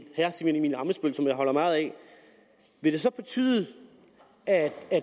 ammitzbøll som jeg holder meget af vil det så betyde at